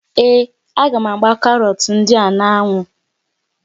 Ee, a gá m ágbá karọt ndị a n'ánwụ́